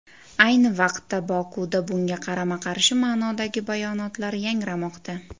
Ayni vaqtda Bokudan bunga qarama-qarshi ma’nodagi bayonotlar yangramoqda.